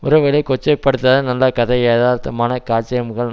உறவுகளை கொச்சைப்படுத்தாத நல்ல கதை யதார்த்தமான காட்சியமைப்புகள்